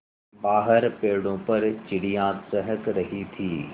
बाहर पेड़ों पर चिड़ियाँ चहक रही थीं